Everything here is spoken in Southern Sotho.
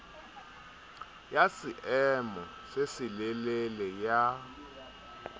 ya seemo se selelele ya